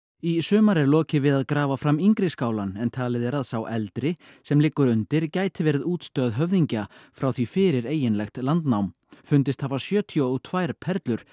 í sumar er lokið við að grafa fram yngri skálann en talið er að sá eldri sem liggur undir gæti verið útstöð höfðingja frá því fyrir eiginlegt landnám fundist hafa sjötíu og tvær perlur